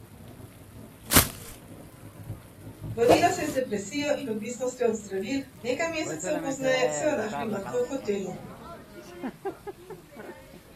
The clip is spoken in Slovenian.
Borila se je z depresijo in odvisnostjo od zdravil, nekaj mesecev pozneje so jo našli mrtvo v hotelu.